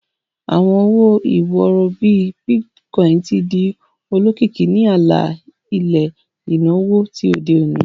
Awọn owo-iworo, bii Bitcoin, ti di olokiki ni ala-ilẹ inawo ti ode oni.